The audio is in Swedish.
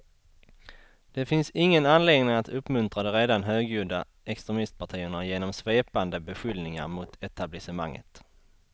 Det finns ingen anledning att uppmuntra de redan högljudda extremistpartierna genom svepande beskyllningar mot etablissementet.